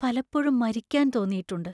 പലപ്പോഴും മരിക്കാൻ തോന്നിയിട്ടുണ്ട്.